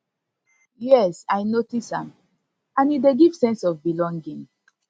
yes i notice am and e dey give sense of belonging